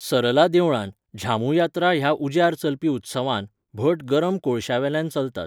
सरला देवळांत, झामू यात्रा ह्या उज्यार चलपी उत्सवांत, भट गरम कोळशांवेल्यान चलतात.